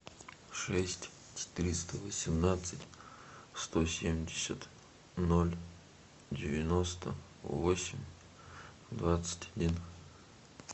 шесть четыреста восемнадцать сто семьдесят ноль девяносто восемь двадцать один